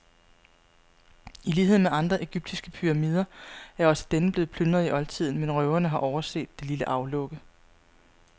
I lighed med andre egyptiske pyramider er også denne blevet plyndret i oldtiden, men røverne har overset det lille aflukke.